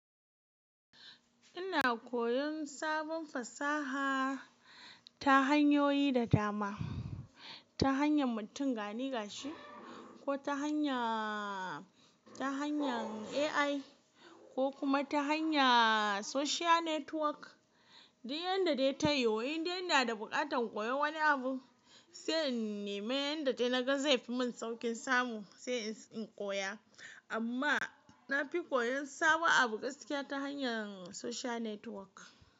Ina koyon sabon fasaha ta hanyoyi da dama, ta hanyar mutum ganiga shi ko ta hanya, ta hanyar AI ko kuma ta hanya social network. Duk yanda dai tayiwu, in dai ina da buƙatar koyon wani abu, sai in neme yanda dai na ga zai fi mun sauƙin samu, sai in koya. Amma na fi koyon sabo abu gaskiya ta hanyar social network.